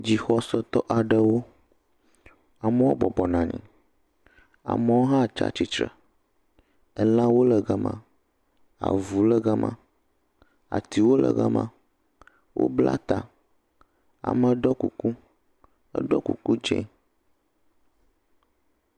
Dzixɔsetɔ aɖewo, amewo bɔbɔnɔ anyi, aɖewo le tsitre, elãwo le gama, avuwo le gama, atiwo le gama, wobla ta, ame ɖɔ kuku, eɖɔ kuku dzɛ.